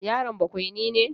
Yaron bakwaini ne?